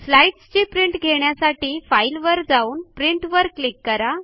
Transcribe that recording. स्लाईडची print घेण्यासाठी file वर जाऊन प्रिंट वर क्लिक करा